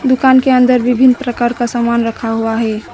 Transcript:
दुकान के अंदर विभिन्न प्रकार का सामान रखा हुआ है।